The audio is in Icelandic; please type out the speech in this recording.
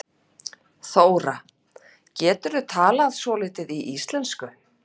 Þóra: Geturðu talað svolítið í íslensku?